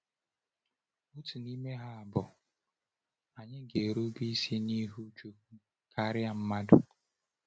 Otu n’ime ha bụ: “Ànyị ga-erube isi n’ihu Chukwu karịa mmadụ.”